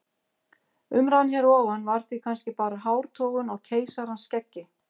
Umræðan hér að ofan var því kannski bara hártogun á keisarans skeggi.